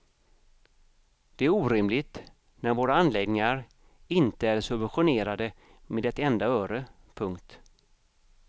Det är orimligt när våra anläggningar inte är subventionerade med ett enda öre. punkt